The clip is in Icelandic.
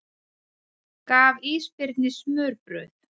Gaf ísbirni smurbrauð